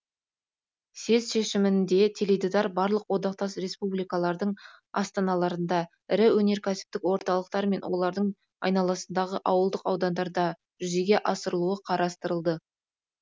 съезд шешімінде теледидар барлық одақтас республикалардың астаналарында ірі өнеркәсіптік орталықтар мен олардың айналасындағы ауылдық аудандарда жүзеге асырылуы қарастырылды